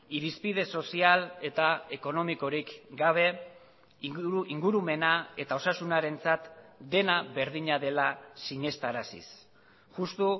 irizpide sozial eta ekonomikorik gabe ingurumena eta osasunarentzat dena berdina dela sinestaraziz justo